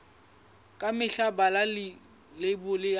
ka mehla bala leibole ya